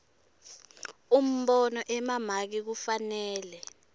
umbono emamaki kufanele